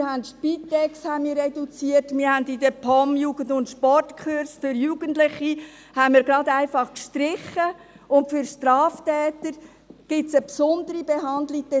Wir haben die Spitex reduziert, wir haben in der POM Jugend- und Sportkurse für Jugendliche einfach gestrichen, und doch gibt es für die Straftäter eine besondere Behandlung.